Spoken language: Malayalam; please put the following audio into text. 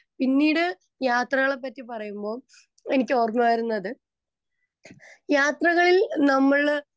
സ്പീക്കർ 2 പിന്നീട് യാത്രകളെ പറ്റി പറയുമ്പോൾ എനിക്കു ഓര്മവരുന്നത് യാത്രകളിൽ നമ്മള്